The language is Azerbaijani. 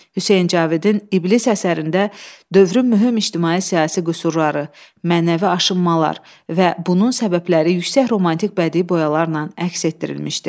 Hüseyn Cavidin İblis əsərində dövrün mühüm ictimai-siyasi qüsurları, mənəvi aşınmalar və bunun səbəbləri yüksək romantik bədii boyalarla əks etdirilmişdi.